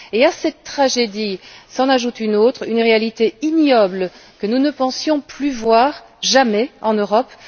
Et à cette tragédie s'en ajoute une autre, une réalité ignoble que nous ne pensions plus voir, jamais en Europe